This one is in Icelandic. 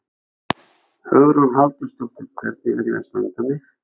Hugrún Halldórsdóttir: Hvernig er ég að standa mig?